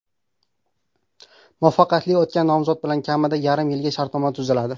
Muvaffaqiyatli o‘tgan nomzod bilan kamida yarim yilga shartnoma tuziladi.